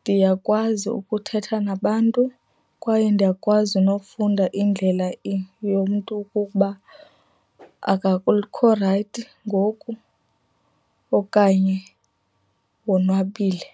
ndiyakwazi ukuthetha nabantu kwaye ndiyakwazi nokufunda indlela yomntu ukuba rayithi ngoku okanye wonwabile.